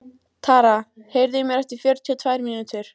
Tara, heyrðu í mér eftir fjörutíu og tvær mínútur.